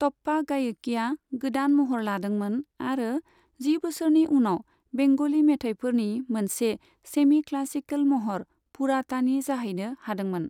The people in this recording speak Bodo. टप्पा गायकिया गोदान महर लादोंमोन आरो जि बोसोरनि उनाव बेंग'लि मेथायफोरनि मोनसे सेमि क्लासिकेल महर पुरातानि जाहैनो हादोंमोन।